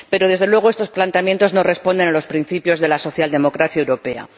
Pero, desde luego, estos planteamientos no responden a los principios de la socialdemocracia europea.